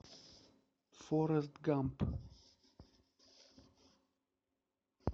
форест гамп